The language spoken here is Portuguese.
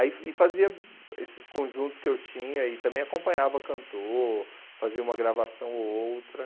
Aí e fazia esses conjuntos que eu tinha e também acompanhava cantor, fazia uma gravação ou outra.